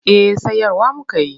Eh sayarwa muka yi.